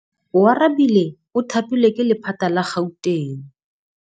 Oarabile o thapilwe ke lephata la Gauteng.